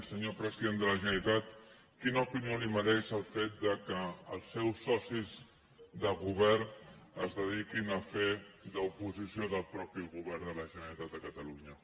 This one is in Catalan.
senyor president de la generalitat quina opinió li mereix el fet que els seus socis de govern es dediquin a fer d’oposició del mateix govern de la generalitat de catalunya